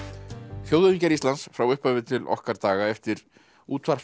þjóðhöfðingjar Íslands frá upphafi til okkar daga eftir